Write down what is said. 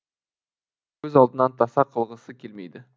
көз алдынан таса қылғысы келмейді